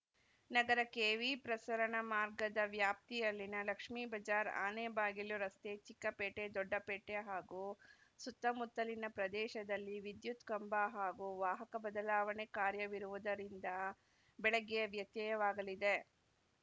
ನಗರ ಕೆವಿಪ್ರಸರಣ ಮಾರ್ಗದ ವ್ಯಾಪ್ತಿಯಲ್ಲಿನ ಲಕ್ಷ್ಮೇಬಜಾರ್‌ಆನೆಬಾಗಿಲು ರಸ್ತೆ ಚಿಕ್ಕಪೇಟೆ ದೊಡ್ಡಪೇಟೆ ಹಾಗೂ ಸುತ್ತಮುತ್ತಲಿನ ಪ್ರದೇಶದಲ್ಲಿ ವಿದ್ಯುತ್‌ ಕಂಬ ಹಾಗೂ ವಾಹಕ ಬದಲಾವಣೆ ಕಾರ್ಯವಿರುವುದರಿಂದ ಬೆಳಗ್ಗೆ ವ್ಯತ್ಯಯವಾಗಲಿದೆ